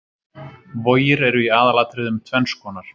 Vogir eru í aðalatriðum tvenns konar.